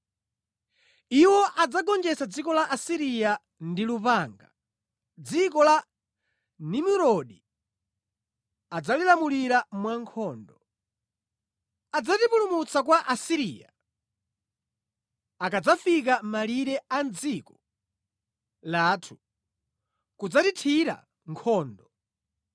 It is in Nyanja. Iwo adzagonjetsa dziko la Asiriya ndi lupanga, dziko la Nimurodi adzalilamulira mwankhondo. Adzatipulumutsa kwa Asiriya akadzafika mʼmalire a mʼdziko lathu kudzatithira nkhondo.